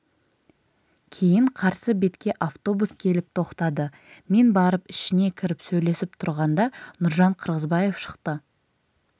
кейін қарсы бетке автобус келіп тоқтады мен барып ішіне кіріп сөйлесіп тұрғанда нұржан қырғызбаев шықты